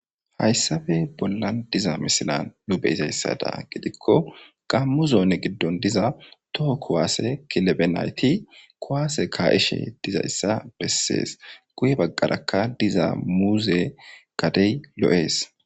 Hayssabe bollan diza misila nu beyizayssada gidikko gammu zoone giddon diza toho kuwaase kilebe nayti kuwaase kaa7ishe dizayssa bessees guye baggarakka diza muuze gadey lo'ees.